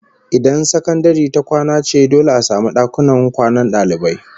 Idan sakandare ta kwana ce to dole a samu dakunan kwanan dalibai